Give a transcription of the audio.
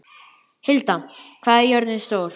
Hilda, hvað er jörðin stór?